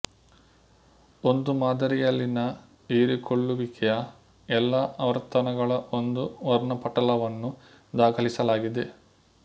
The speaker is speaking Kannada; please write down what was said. ಒಂದು ಮಾದರಿಯಲ್ಲಿನ ಹೀರಿಕೊಳ್ಲುವಿಕೆಯ ಎಲ್ಲಾ ಆವರ್ತನಗಳ ಒಂದು ವರ್ಣಪಟಲವನ್ನು ದಾಖಲಿಸಲಾಗಿದೆ